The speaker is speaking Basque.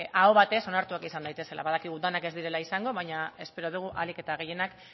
aho batez onartuak izan daitezela badakigu denak ez direla izango baina espero dugu ahalik eta gehienak